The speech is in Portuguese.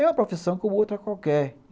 É uma profissão como outra qualquer.